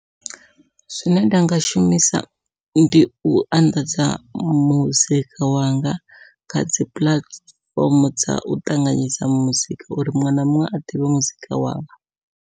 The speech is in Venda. Zwine nda nga shumisa ndi u anḓadza muzika wanga kha dzi puḽatifomo dzau ṱanganyisa muzika uri muṅwe na muṅwe a ḓivhe muzika wanga.